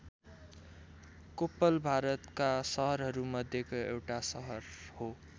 कोप्पल भारतका सहरहरू मध्येको एउटा सहर हो।